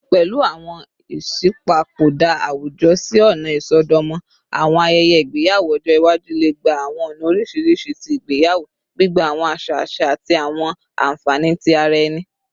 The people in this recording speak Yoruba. Pẹlu awọn iṣipopada awujọ si ọna isọdọmọ, awọn ayẹyẹ igbeyawo ọjọ iwaju le gba awọn ọna oriṣiriṣi ti igbeyawo, gbigba awọn aṣa aṣa ati awọn ayanfẹ ti ara ẹni.